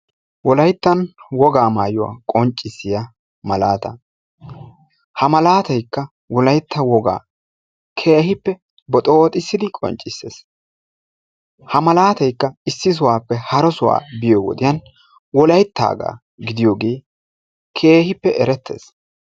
Wolayttan wogaa maayuwa qonccissiya malaataa ha malaatayikka wolaytta wogaa keehippe boxooxissidi qonccisses. Ha malaataykka issi sohuwappe hara sohuwa biyo wodiyan wolayttaagaa gidiyogee keehippe erettes.